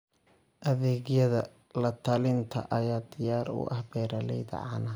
Adeegyada la-talinta ayaa diyaar u ah beeralayda caanaha.